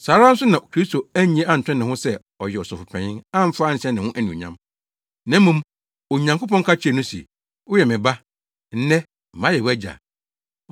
Saa ara nso na Kristo annye anto ne ho so sɛ ɔyɛ Ɔsɔfopanyin amfa anhyɛ ne ho anuonyam. Na mmom Onyankopɔn ka kyerɛɛ no se, “Woyɛ me Ba; nnɛ, mayɛ wʼAgya.”